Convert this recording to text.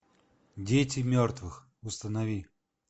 дети мертвых установи